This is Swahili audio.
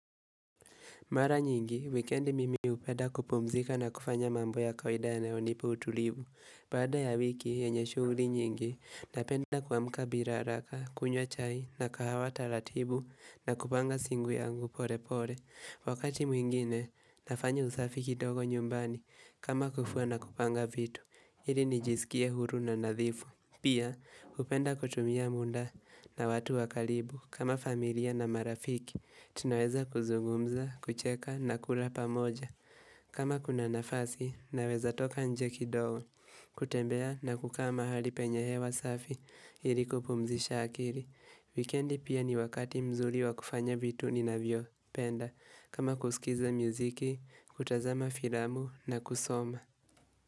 Mara nyingi, wikendi mimi hupenda kupumzika na kufanya mambo ya kawaida yanayonipa utulivu. Baada ya wiki, yenye shughuli nyingi, napenda kuamka bila haraka, kunywa chai, na kahawa taratibu, na kupanga siku yangu pole pole. Wakati mwingine, nafanya usafi kidogo nyumbani, kama kufua na kupanga vitu. Ili nijisikie huru na nadhifu. Pia, hupenda kutumia muda na watu wa karibu, kama familia na marafiki. Tunaweza kuzugumza, kucheka na kula pamoja. Kama kuna nafasi naweza toka nje kidogo. Kutembea na kukaa mahali penye hewa safi. Ili kupumzisha akili, wikendi pia ni wakati mzuri wa kufanya vitu ninavyopenda, kama kusikiza muziki, kutazama filamu na kusoma.